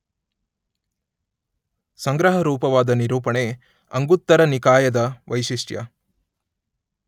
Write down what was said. ಸಂಗ್ರಹರೂಪವಾದ ನಿರೂಪಣೆ ಅಂಗುತ್ತರನಿಕಾಯದ ವೈಶಿಷ್ಟ್ಯ